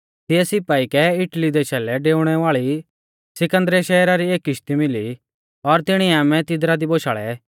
तिऐ सिपाई कै इटली देशा लै डेउणै वाल़ी सिकन्दरिया शहरा री एक किश्ती मिली और तिणीऐ आमै तिदरा दी बोशाल़ै